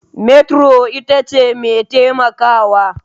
Metro itace mai taimakawa.